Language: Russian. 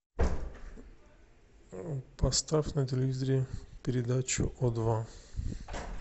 поставь на телевизоре передачу о два